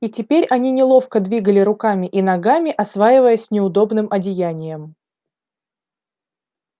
и теперь они неловко двигали руками и ногами осваиваясь с неудобным одеянием